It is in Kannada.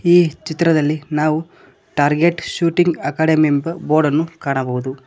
ಈ ಚಿತ್ರದಲ್ಲಿ ನಾವು ಟಾರ್ಗೆಟ್ ಶೂಟಿಂಗ್ ಅಕಾಡೆಮಿ ಎಂಬ ಬೋರ್ಡನ್ನು ಕಾಣಬಹುದು.